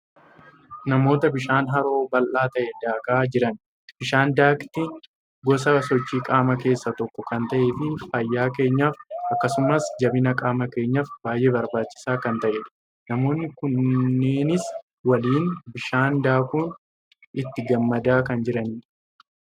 Namoota bishaan haroo bal'aa ta'e daakaa jiran. Bishaan daakkitiin gosa sochii qaamaa keessaa tokko kan ta'ee fi fayyaa keenyaaf akkasumas jabina qaama keenyaaf baay'ee barbaachisaa kan ta'edha. Namoonni kunneenis waliin bishaan daakuun itti gammadaa kan jiranidha.